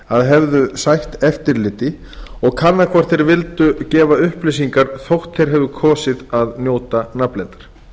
að hefðu sætt eftirliti og kanna hvort þeir vildu gefa upplýsingar þótt þeir hafi kosið að njóta nafnleyndar